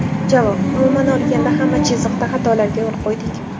Javob: Umuman olganda hamma chiziqda xatolarga yo‘l qo‘ydik.